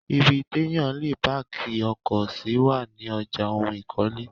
Ibi téyàn le páàkì ọkọ̀ sí wà ní ọjà ohun ìkọ́lé.